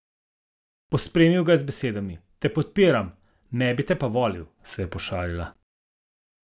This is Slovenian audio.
Pospremil ga je z besedami: "Te podpiram, ne bi te pa volil," se je pošalila.